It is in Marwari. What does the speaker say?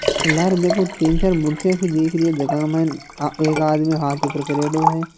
लारे देखो तीन-चार मूर्तियाँ सी दीख री है जका के माइन एक आदमी हाथ ऊपर करेड़ो हैं।